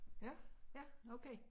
Ja ja okay